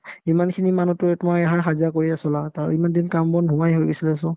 ইমানখিনি মানুহেতোয়ে তোমাৰ এই সা-সাহাৰ্য্য কৰি আছো না তাৰ ইমানদিন কাম-বন নোহোৱাই হৈ গৈছিলে so